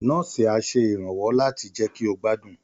Nọ́ọ̀sì á ṣe ìrànwọ́ láti jẹ́ kí ó gbádùn